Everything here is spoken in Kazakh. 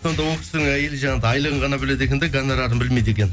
сонда ол кісінің әйелі жаңағы айлығын ғана біледі екен де гонорарын білмейді екен